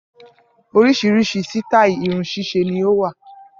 Oríṣìíríṣìí sítàì irun ṣíṣe ni ó wà.